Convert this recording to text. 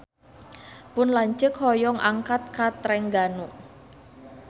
Pun lanceuk hoyong angkat ka Trengganu